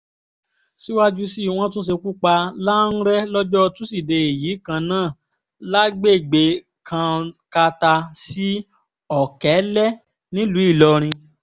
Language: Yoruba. síwájú sí wọ́n tún ṣekú pa lánrẹ́ lọ́jọ́ tusidee yìí kan náà lágbègbè kankata sí ọ̀kẹ́lẹ́ nílùú ìlọrin